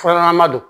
Fura ɲɛnama don